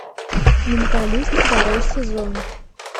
менталист второй сезон